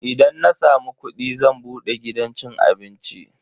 Idan na samu kudi zan bude gidan cin abinci.